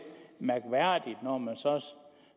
mærkværdigt når man så